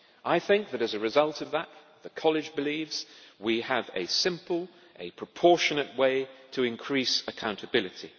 I think that, as a result of that, the College believes we have a simple, proportionate way to increase accountability.